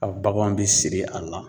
A baganw bɛ siri a la.